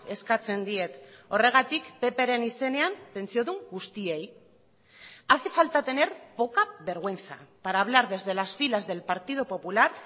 eskatzen diet horregatik ppren izenean pentsiodun guztiei hace falta tener poca vergüenza para hablar desde las filas del partido popular